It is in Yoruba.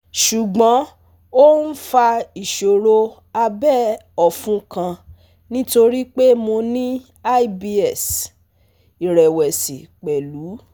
ṣùgbọ́n ó ń fa ìṣòro abẹ̀ ọ̀fun kan nítorí pé mo ní IBS ìrẹ̀wẹ̀sì pẹ̀lú